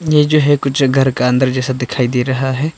ये जो है कुछ घर का अंदर जैसा दिखाई दे रहा है।